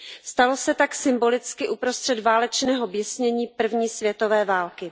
Stalo se tak symbolicky uprostřed válečného běsnění první světové války.